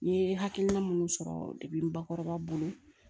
N ye hakilina minnu sɔrɔ n bakɔrɔba bolo